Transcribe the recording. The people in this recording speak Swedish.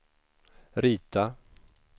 rita